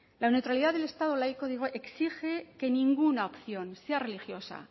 la neutralidad del estado laico exige que ninguna opción sea religiosa